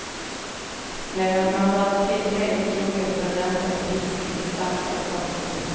Medan man rör till degen kokas den rensade fisken i saltat vatten.